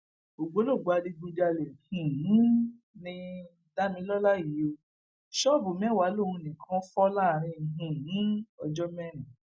ṣùgbọn ṣàfù ò ṣeé fara wé ó lè gbé e um ṣúlẹ bẹẹ bí ajé um bá ti ń wọgbà